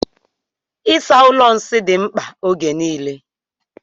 Ịsa ụlọ nsị dị mkpa ógè niile.